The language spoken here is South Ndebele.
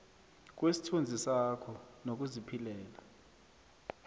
kwesithunzi sakho nokuziphilela